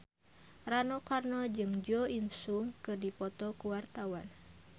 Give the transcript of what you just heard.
Rano Karno jeung Jo In Sung keur dipoto ku wartawan